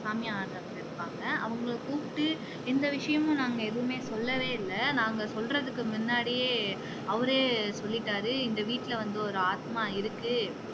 சாமி ஆடுறவங்க இருப்பாங்க அவங்களை கூப்பிட்டு எந்த விஷயமும் நாங்க எதுவுமே சொல்லவே இல்ல. நாங்க சொல்றதுக்கு முன்னடியே அவரே சொல்லிட்டாரு இந்த வீட்டுல வந்து ஒரு ஆத்மா இருக்கு